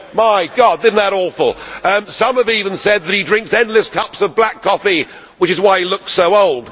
My God, isn't that awful! Some have even said that he drinks endless cups of black coffee, which is why he looks so old.